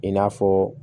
I n'a fɔ